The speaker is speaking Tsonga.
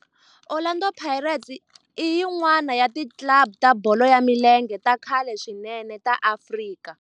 Orlando Pirates i yin'wana ya ti club ta bolo ya milenge ta khale swinene ta Afrika